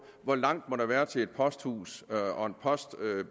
hvor langt være til et posthus og